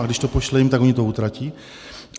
A když to pošle jim, tak oni to utratí.